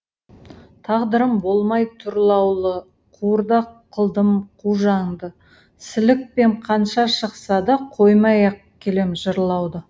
тағдырым болмай тұрлаулы қуырдақ қылдым қу жанды сілікпем қанша шықса да қоймай ақ келем жырлауды